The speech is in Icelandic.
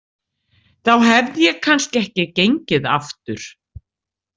Þá hefði ég kannski ekki gengið aftur.